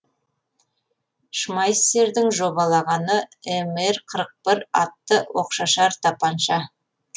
шмайссердің жобалағаны мр қырық бір атты оқшашар тапанша